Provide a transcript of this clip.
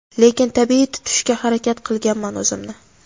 lekin tabiiy tutishga harakat qilganman o‘zimni.